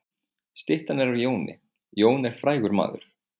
Styttan er af Jóni. Jón er frægur maður.